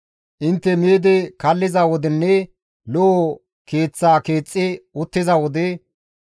Intte miidi kalliza wodenne lo7o keeth keexxi uttiza wode,